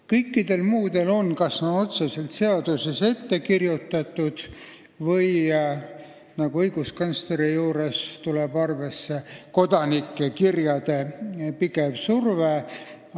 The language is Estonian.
Kõikidel muudel on – see on kas otseselt seaduses ette kirjutatud või on nagu õiguskantsleri puhul tegu kodanike kirjade pideva survega.